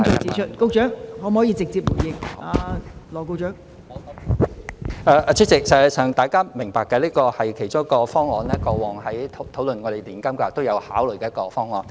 代理主席，實際上大家都明白這是其中一個方案，過往在討論我們的年金計劃時都有考慮的一個方案。